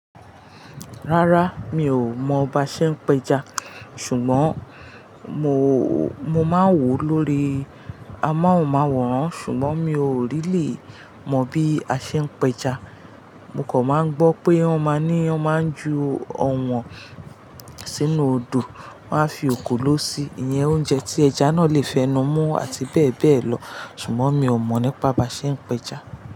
Rárá, mi ò mọ ba ṣe ń pẹja, ṣùgbọ́n mo, mo máa ń wò ó lórí amóhùnmáwòrán, ṣùgbọ́n mi ò really mọ bí a ṣe ń pẹja. Mo kan máa ń gbọ́ pé wọ́n máa ní wọ́n máa ń ju ọ̀wọ́n sínú odò, wọ́n á fi ekòló sí i, iye oúnjẹ tí ẹja náà lè fẹ́nu mú àti bẹ́ẹ̀ bẹ́ẹ̀ lọ, ṣùgbọ́n mi ò mọ̀ nípa bá ṣe ń pẹja.